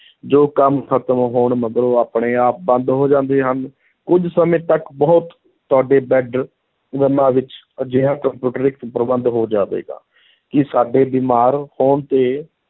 ਜੋ ਕੰਮ ਖ਼ਤਮ ਹੋਣ ਮਗਰੋਂ ਆਪਣੇ ਆਪ ਬੰਦ ਹੋ ਜਾਂਦੇ ਹਨ, ਕੁੱਝ ਸਮੇਂ ਤਕ ਬਹੁਤ ਤੁਹਾਡੇ ਬੈਡਰੂਮਾਂ ਵਿੱਚ ਅਜਿਹਾ ਪ੍ਰਬੰਧ ਹੋ ਜਾਵੇਗਾ ਕਿ ਸਾਡੇ ਬਿਮਾਰ ਹੋਣ ਤੇ